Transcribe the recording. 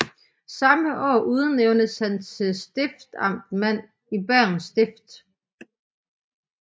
Samme år udnævntes han til stiftamtmand i Bergens Stift